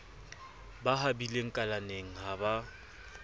ba habile kalaneng ha ba